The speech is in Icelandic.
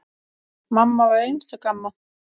Mamma var einstök amma.